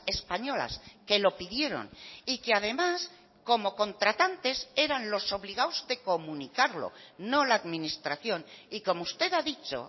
españolas que lo pidieron y que además como contratantes eran los obligados de comunicarlo no la administración y como usted ha dicho